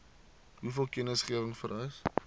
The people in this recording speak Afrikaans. hoeveel kennisgewing vereis